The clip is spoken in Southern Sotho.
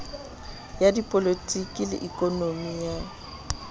ya dipolotiki le ikonomi ya